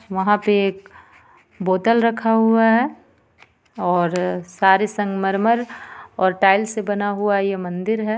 वहां पे एक बोतल रखा हुआ है और सारे संगमरमर और टाइल्स से बना हुआ ये मंदिर है.